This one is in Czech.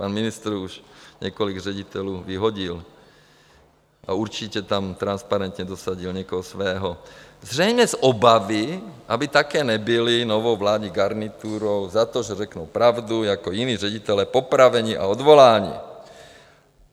Pan ministr už několik ředitelů vyhodil a určitě tam transparentně dosadil někoho svého, zřejmě z obavy, aby také nebyli novou vládní garniturou za to, že řeknou pravdu, jako jiní ředitelé popraveni a odvoláni.